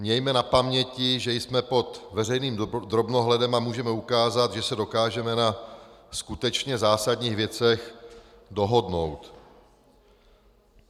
Mějme na paměti, že jsme pod veřejným drobnohledem a můžeme ukázat, že se dokážeme na skutečně zásadních věcech dohodnout.